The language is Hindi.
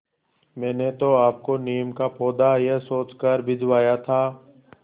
मैंने तो आपको नीम का पौधा यह सोचकर भिजवाया था